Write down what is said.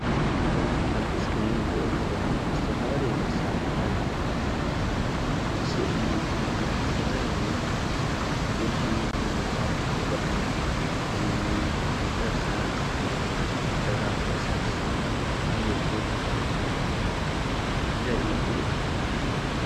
እዞም ኣብ ስክሪን እንሪእዮም ዘለና ዝተፈላለዩ መሳሪሒታት ስኢሊ ወይ ድማ ዝተፈላለዩ ንድፊ ንምውፃእ ዝጠቅሙና ከምኒ እርሳስ ሕብራዊ እርሳስ ቢሮ ዘሪኢ ምስሊ እዩ።